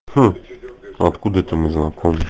хм откуда это мы знакомы